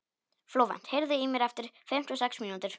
Flóvent, heyrðu í mér eftir fimmtíu og sex mínútur.